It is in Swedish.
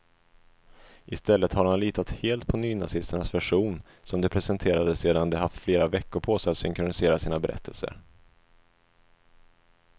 I stället har han litat helt på nynazisternas version, som de presenterade sedan de haft flera veckor på sig att synkronisera sina berättelser.